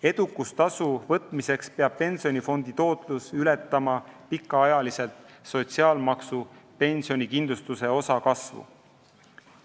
Edukustasu võtmiseks peab pensionifondi tootlus pikaajaliselt ületama sotsiaalmaksu pensionikindlustuse osa kasvu.